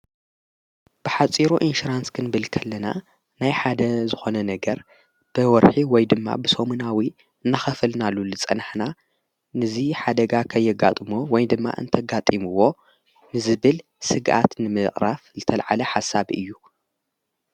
ብኃፂሩ ኢንሽራንስክን ብልከለና ናይ ሓደ ዝኾነ ነገር ብወርሒ ወይ ድማ ብሶሙናዊ እናኸፈልናሉ ልጸንሕና ንዙ ሓደጋ ኸየጋጥሞ ወይ ድማ እንተጋጢምዎ ንዝብል ሥግኣት ንምቕራፍ ዝተልዓለ ሓሳብ እዩ።